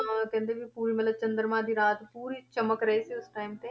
ਤਾਂ ਕਹਿੰਦੇ ਵੀ ਪੂਰੀ ਮਤਲਬ ਚੰਦਰਮਾ ਦੀ ਰਾਤ ਪੂਰੀ ਚਮਕ ਰਹੀ ਸੀ time ਤੇ।